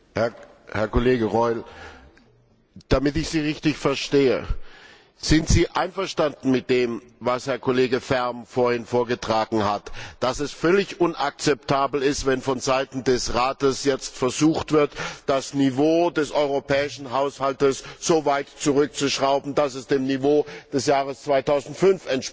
Herr Kollege Reul, damit ich Sie richtig verstehe Sind Sie einverstanden mit dem, was Herr Kollege Färm vorhin vorgetragen hat, dass es völlig unakzeptabel ist, wenn vonseiten des Rates jetzt versucht wird, das Niveau des europäischen Haushaltes so weit zurückzuschrauben, dass es dem Niveau des Jahres 2005 entspricht?